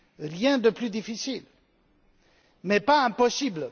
Rien de plus difficile, mais pas impossible.